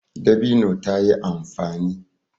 Dabino ta yi amfani.